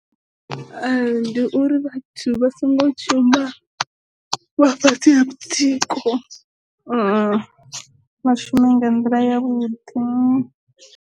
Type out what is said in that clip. Ndi uri vhathu vha songo shuma vha fhasi ha mutsiko, vha shume nga nḓila ya vhuḓi.